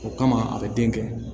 O kama a bɛ den kɛ